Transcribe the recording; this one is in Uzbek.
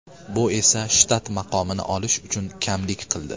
Bu esa shtat maqomini olish uchun kamlik qildi.